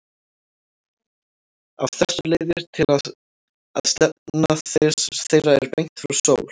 Af þessu leiðir að stefna þeirra er beint frá sól.